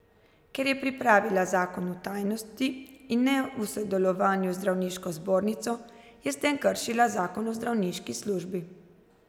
Ker je pripravila zakon v tajnosti in ne v sodelovanju z zdravniško zbornico, je s tem kršila zakon o zdravniški službi.